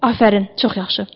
Afərin, çox yaxşı.